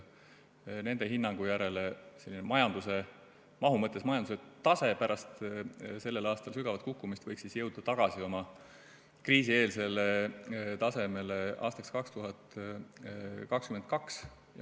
Nende hinnangu järgi selline mahu mõttes majanduse tase pärast sellel aastal toimunud sügavat kukkumist võiks jõuda tagasi kriisieelsele tasemele aastaks 2022.